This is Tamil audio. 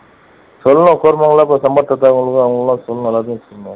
சொல்லணும் அவங்களுக்கு அவங்க எல்லாம் சொல்லணும் எல்லாத்துக்கும் சொல்லணும்